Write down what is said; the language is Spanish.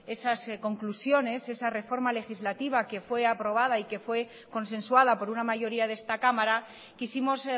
esas conclusiones esa reforma legislativa que fue aprobada y que fue consensuada por una mayoría de esta cámara quisimos